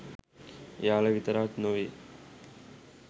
එයාලා විතරක් නෙවෙයි